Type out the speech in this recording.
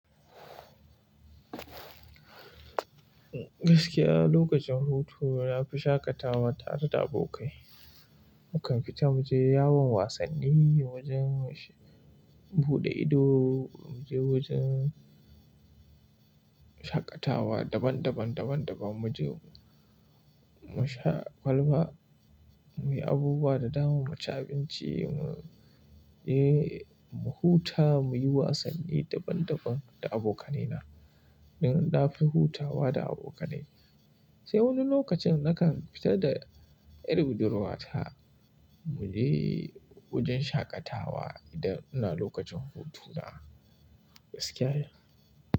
Gaskiya lokacin hutu na fi shaƙatawa tare da abokai. Mu kan fita mu je yawon wasanni, wajen buɗe ido, mu je wajen shaƙatawa daban-daban, daban-daban. Mu je mu sha kwalba, mu yi abubuwa da dama, mu ci abinci, mu e mu huta, mu yi wasanni daban-daban da abokanai na. Don na fi hutawa da abokanai. Sai wani lokacin na kan fita da yar budurwata mu je wajen shaƙatawa idan ina lokacin hutuna, gaskiya.